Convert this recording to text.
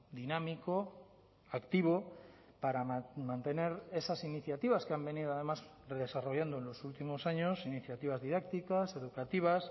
dinámico activo para mantener esas iniciativas que han venido además desarrollando en los últimos años iniciativas didácticas educativas